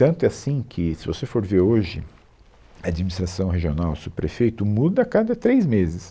Tanto é assim que se você for ver hoje, administração regional, subprefeito, muda a cada três meses.